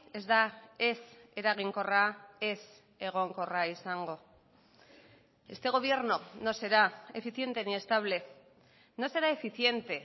ez da ez eraginkorra ez egonkorra izango este gobierno no será eficiente ni estable no será eficiente